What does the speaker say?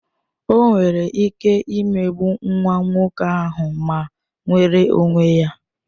O nwere ike ịmegbu nwa nwoke ahụ ma nweere onwe ya